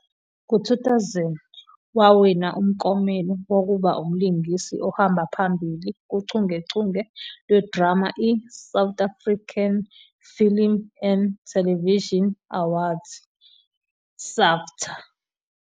Ngo-2000, wawina umklomelo wokuba umlingisi ohamba phamibi kuchungechunge lwedrama i-South African Film and Television Awards, SAFTA.